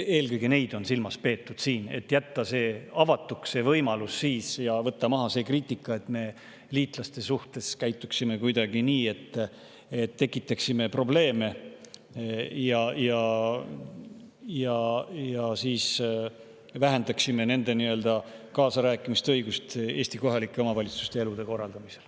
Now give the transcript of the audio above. Eelkõige neid on siin silmas peetud, et jätta avatuks see võimalus ja võtta maha see kriitika, nagu me käituksime liitlaste suhtes kuidagi nii, et tekitame probleeme ja vähendame nende kaasarääkimise õigust Eesti kohalike omavalitsuste elu korraldamisel.